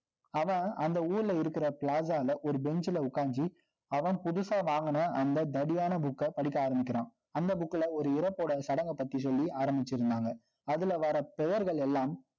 அவன், அந்த ஊர்ல இருக்கிற plaza ல ஒரு bench ல உட்கார்ந்து, அவன் அவன் புதுசா வாங்குன, அந்த தடியான book அ, படிக்க ஆரம்பிக்கிறான். அந்த book ல, ஒரு இறப்போட, சடங்கை பத்தி சொல்லி, ஆரம்பிச்சு இருந்தாங்க. அதுல வர்ற, பெயர்கள் எல்லாம்